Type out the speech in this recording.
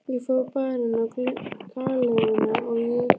Ég fór á Barinn, á Galeiðuna og í